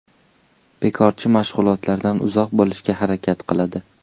Bekorchi mashg‘ulotlardan uzoq bo‘lishga harakat qiladi.